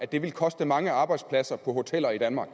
det koste mange arbejdspladser på hoteller i danmark